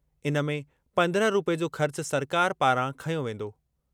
इन में पंद्रहं रूपए जो ख़र्च सरकार पारां खंयो वेंदो।